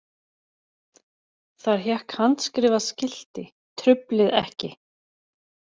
Þar hékk handskrifað skilti: Truflið ekki!